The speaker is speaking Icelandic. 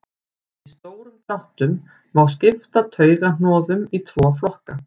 í stórum dráttum má skipta taugahnoðum í tvo flokka